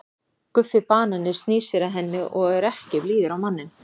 Guffi banani snýr sér að henni og er ekki blíður á manninn.